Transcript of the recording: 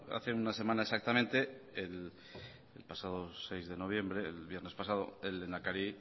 hace una semana exactamente el pasado seis de noviembre el viernes pasado el lehendakari